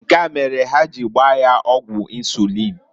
Nkea mere ha ji gbaa ya ọgwụ insuliin.